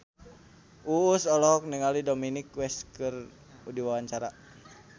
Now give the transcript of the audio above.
Uus olohok ningali Dominic West keur diwawancara